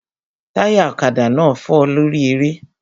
Táyà ọ̀kadà náà fọ́ lórí eré